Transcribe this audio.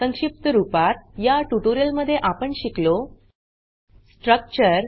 संक्षिप्त रूपात या ट्यूटोरियल मध्ये आपण शिकलो स्ट्रक्चर